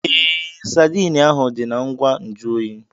Ee, Sadiin ahu dị na ngwa nju oyi.